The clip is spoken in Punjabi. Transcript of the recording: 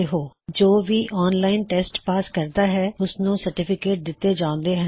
spoken tutorial project team spoken tutorials ਦੇ ਨਾਲ ਵਰਕਸ਼ਾਪ ਚਲਾਉੰਦੀ ਹੈ